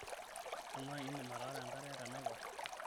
amaa indim ataara enkare tenaiposha?